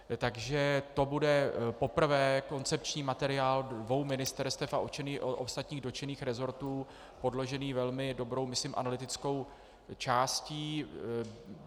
Takže to bude poprvé koncepční materiál dvou ministerstev a ostatních dotčených resortů podložený velmi dobrou, myslím, analytickou částí.